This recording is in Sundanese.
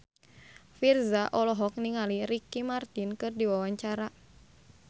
Virzha olohok ningali Ricky Martin keur diwawancara